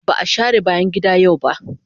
Ba a share bayan gida yau ba.